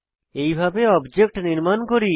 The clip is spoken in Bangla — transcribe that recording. এইভাবে অবজেক্ট নির্মাণ করি